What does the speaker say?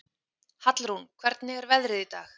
Hallrún, hvernig er veðrið í dag?